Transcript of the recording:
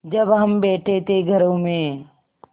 जब हम बैठे थे घरों में